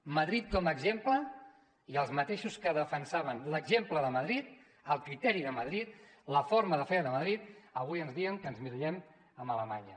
madrid com a exemple i els mateixos que defensaven l’exemple de madrid el criteri de madrid la forma de fer de madrid avui ens deien que ens emmirallem amb alemanya